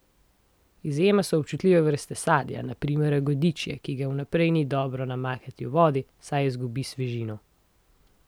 Izjema so občutljive vrste sadja, na primer jagodičje, ki ga vnaprej ni dobro namakati v vodi, saj izgubi svežino.